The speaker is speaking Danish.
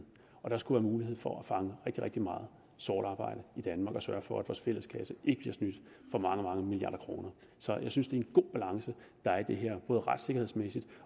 og der skulle være mulighed for at fange rigtig rigtig meget sort arbejde i danmark og sørge for at vores fælleskasse ikke bliver snydt for mange mange milliarder kroner så jeg synes det er en god balance der er i det her både retssikkerhedsmæssigt